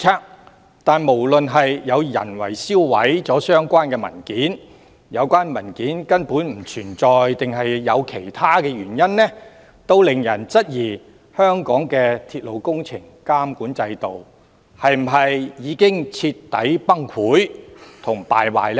可是，不論有人銷毀了相關文件或有關文件根本不存在，抑或其他原因，均令人質疑香港的鐵路工程監管制度是否已經徹底崩潰和敗壞呢？